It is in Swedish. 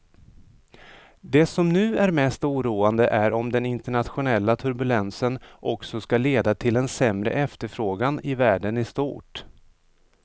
Det som nu är mest oroande är om den internationella turbulensen också ska leda till en sämre efterfrågan i världen i stort.